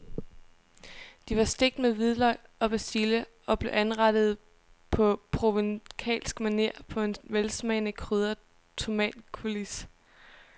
De var stegt med hvidløg og persille og blev anrettet på provencalsk maner på en velsmagende krydret tomatcoulis.